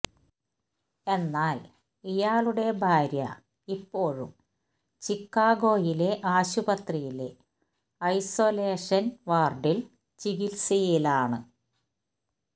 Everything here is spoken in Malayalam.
എന്നാല് ഇയാളുടെ ഭാര്യ ഇപ്പോഴും ചിക്കാഗോയിലെ ആശുപതിയിലെ ഐസോലേഷന് വാര്ഡില് ചികിത്സയിലാണ്